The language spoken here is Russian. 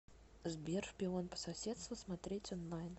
сбер шпион по соседству смотреть онлайн